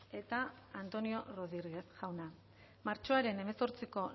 eta antonio rodríguez jauna martxoaren hemezortziko